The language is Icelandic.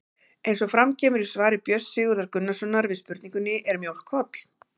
Eins og fram kemur í svari Björns Sigurðar Gunnarssonar við spurningunni Er mjólk holl?